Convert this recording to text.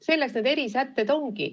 Selleks need erisätteid ongi.